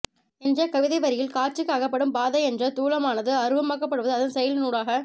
என்ற கவிதைவரியில் காட்சிக்கு அகப்படும் பாதை என்ற தூலமானது அருவமாக்கப்படுவது அதன் செயலினூடாக